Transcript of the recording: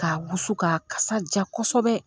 K'a wusu ka kasa ja kosɛbɛ.